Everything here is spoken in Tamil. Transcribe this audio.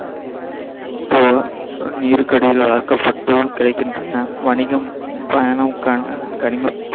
நீருக்கடியில் வளர்க்கப்பட்டு கிடக்கின்றன. வணிகம், பயணம்